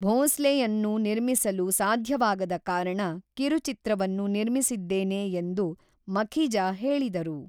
ಭೋಂಸ್ಲೆಯನ್ನು ನಿರ್ಮಿಸಲು ಸಾಧ್ಯವಾಗದ ಕಾರಣ ಕಿರುಚಿತ್ರವನ್ನು ನಿರ್ಮಿಸಿದ್ದೇನೆ ಎಂದು ಮಖಿಜಾ ಹೇಳಿದರು.